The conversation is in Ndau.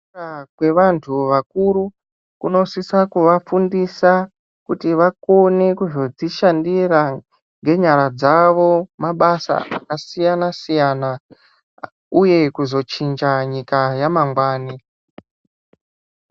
Aa kwevantu vakuru kunosisa kuvafundisa kuti vakone kuzodzishandira ngenyara dzawo mabasa akasiyana siyana uye kuzochinja nyika yamangwani.